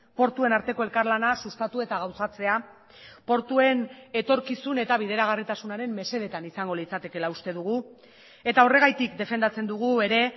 portuen arteko elkarlana sustatu eta gauzatzea portuen etorkizun eta bideragarritasunaren mesedetan izango litzatekeela uste dugu eta horregatik defendatzen dugu ere